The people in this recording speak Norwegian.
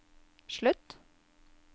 slutt